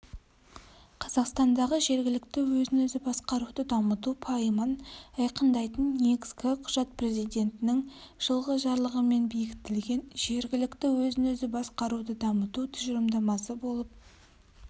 қазақстандағы жергілікті өзін өзі басқаруды дамыту пайымын айқындайтын негізгі құжат президентінің жылғы жарлығымен бекітілген жергілікті өзін өзі басқаруды дамыту тұжырымдамасы болып